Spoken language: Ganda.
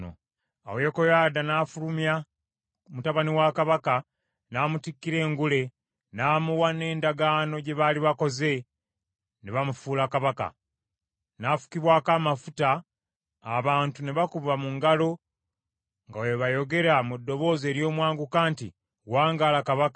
Awo Yekoyaada n’afulumya mutabani wa kabaka, n’amutikkira engule, n’amuwa n’endagaano gye baali bakoze, ne bamufuula kabaka. N’afukibwako amafuta, abantu ne bakuba mu ngalo nga bwe bayogera mu ddoboozi ery’omwanguka nti, “Wangaala kabaka!”